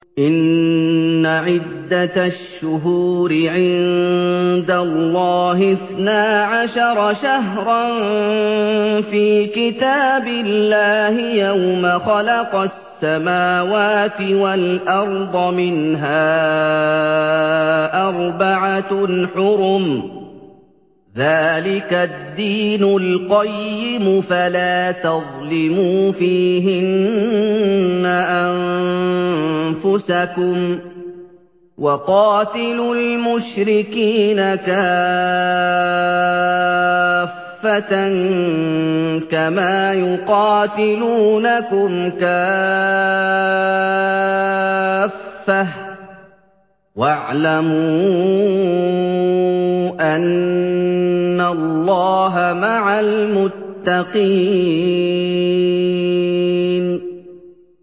إِنَّ عِدَّةَ الشُّهُورِ عِندَ اللَّهِ اثْنَا عَشَرَ شَهْرًا فِي كِتَابِ اللَّهِ يَوْمَ خَلَقَ السَّمَاوَاتِ وَالْأَرْضَ مِنْهَا أَرْبَعَةٌ حُرُمٌ ۚ ذَٰلِكَ الدِّينُ الْقَيِّمُ ۚ فَلَا تَظْلِمُوا فِيهِنَّ أَنفُسَكُمْ ۚ وَقَاتِلُوا الْمُشْرِكِينَ كَافَّةً كَمَا يُقَاتِلُونَكُمْ كَافَّةً ۚ وَاعْلَمُوا أَنَّ اللَّهَ مَعَ الْمُتَّقِينَ